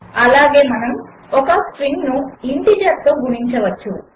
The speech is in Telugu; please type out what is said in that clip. అలాగే మనము ఒక స్ట్రింగ్ను ఇంటీజర్తో గుణించవచ్చు